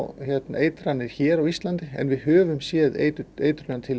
eitranir hér á Íslandi við höfum séð